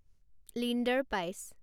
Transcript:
Linder পাইছ